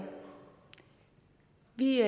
vi